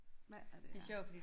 Hvad er det her